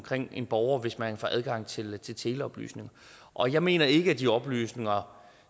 en borger hvis man får adgang til til teleoplysninger og jeg mener ikke at de oplysninger